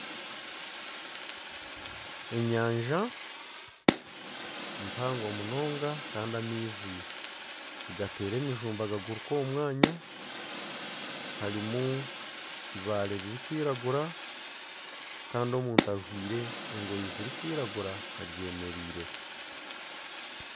Enyanja mpango munonga kandi amaizi nigateera emijumba gaguruka omu mwanya harimu ebibaare birikwiragura kandi omuntu ajwire engoye zirikwiragura aryemereireho